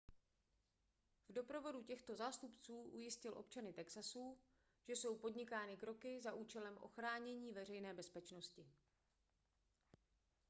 v doprovodu těchto zástupců ujistil občany texasu že jsou podnikány kroky za účelem ochránění veřejné bezpečnosti